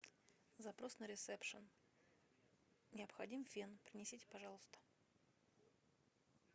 запрос на ресепшн необходим фен принесите пожалуйста